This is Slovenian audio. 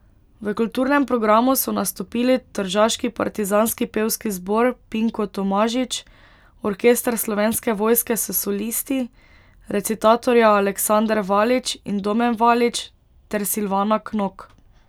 V kulturnem programu so nastopili tržaški partizanski pevski zbor Pinko Tomažič, orkester Slovenske vojske s solisti, recitatorja Aleksander Valič in Domen Valič ter Silvana Knok.